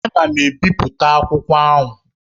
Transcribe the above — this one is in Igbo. Ana m ebipụta akwụkwọ ahụ.